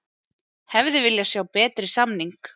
Hefði viljað sjá betri samning